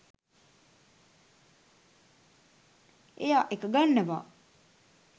එයා එක ගන්නවා